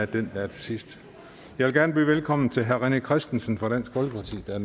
den der er til sidst jeg vil gerne byde velkommen til herre rené christensen fra dansk folkeparti der